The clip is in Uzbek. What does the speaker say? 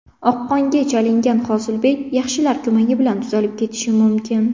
Oqqonga chalingan Hosilbek yaxshilar ko‘magi bilan tuzalib ketishi mumkin.